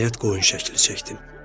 Nəhayət, qoyun şəkli çəkdim.